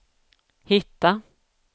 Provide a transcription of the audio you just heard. hitta